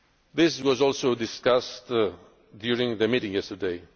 protection. This was also discussed during the meeting